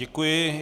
Děkuji.